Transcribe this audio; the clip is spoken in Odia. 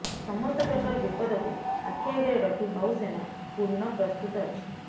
ସମସ୍ତ ପ୍ରକାର ବିପଦକୁ ଆଖି ଆଗରେ ରଖି ନୌସେନା ପୂର୍ଣ୍ଣ ପ୍ରସ୍ତୁତ ଅଛି